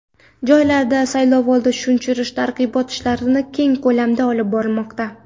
Joylarda saylovoldi tushuntirish-targ‘ibot ishlari keng ko‘lamda olib borilmoqda.